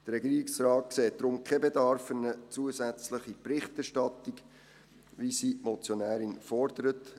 Der Regierungsrat sieht darum keinen Bedarf für eine zusätzliche Berichterstattung, wie sie die Motionärin fordert.